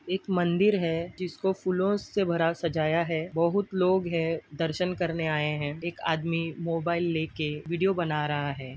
एक मंदिर है जिसको फूलोंसे भरा सजाया है बहुत लोग है दर्शन करने आए है एक आदमी मोबाइल लेके विडियो बना रहा है।